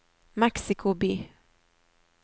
Mexico by